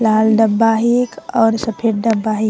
लाल डब्बा हे एक और सफ़ेद डब्बा हे।